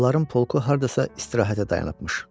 Onların polku hardasa istirahətə dayanıbmış.